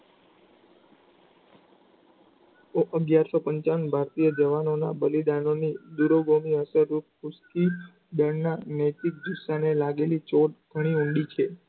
ભારતીય જવાનો બલિદાનોની બળના નૈતિક સ્થાને લાગેલી ચોટ ઘણી ઊંડી છે.